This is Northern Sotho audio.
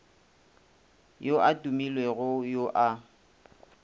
yo a tumilego yo a